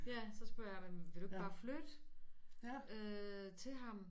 Ja så spørger jeg jamen vil du ikke bare flytte øh til ham